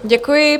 Děkuji.